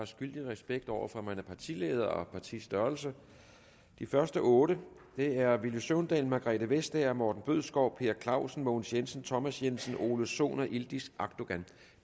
skyldig respekt over for hvem der er partileder og partiets størrelse de første otte er villy søvndal margrethe vestager morten bødskov per clausen mogens jensen thomas jensen ole sohn yildiz akdogan